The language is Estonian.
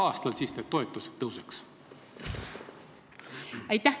Aitäh küsimuse eest!